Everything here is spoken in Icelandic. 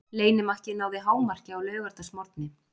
Leynimakkið náði hámarki á laugardagsmorgni.